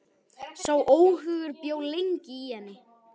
Sá óhugur bjó lengi í henni.